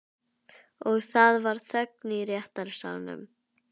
Og það var þögn í réttarsalnum.